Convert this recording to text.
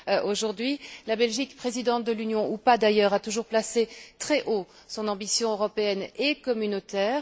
Aujourd'hui, la Belgique, présidente de l'Union ou pas, d'ailleurs, a toujours placé très haut son ambition européenne et communautaire.